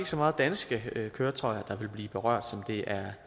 så meget danske køretøjer der vil blive berørt det